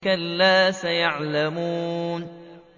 كَلَّا سَيَعْلَمُونَ